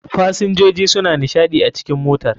fasinjoji suna nishaɗi a cikn motar.